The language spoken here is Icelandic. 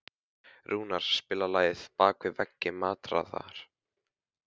Rúnar, spilaðu lagið „Bak við veggi martraðar“.